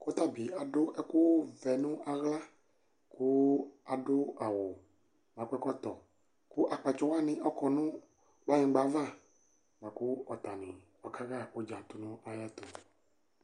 kʋ ɔtabi adʋ ɛkʋ vɛ nʋ ala kʋ adʋ awʋ kʋ akɔ ɛkɔtɔ kʋ akpatsɔ waniɔkɔnʋ kplayingba aɣa lakʋ atani kaha ʋdza tʋnʋ ayiɛtʋ